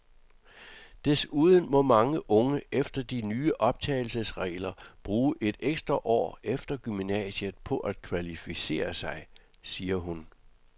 Desuden må mange unge efter de nye optagelsesregler bruge et ekstra år efter gymnasiet på at kvalificere sig, siger hun.